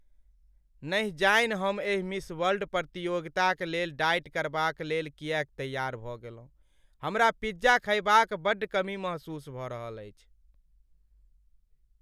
नहि जानि हम एहि मिस वर्ल्ड प्रतियोगिताक लेल डाइट करबालेल किएक तैआर भऽ गेलहुँ। हमरा पिज्जा खयबा क बड्ड कमी महसूस भ रहल अछि।